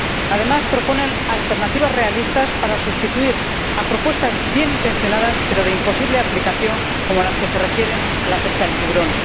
Asimismo, proponen alternativas realistas para sustituir propuestas bien intencionadas, pero de imposible aplicación, como las que se refieren a la pesca del tiburón.